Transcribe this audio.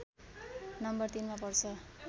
number ३ मा पर्छ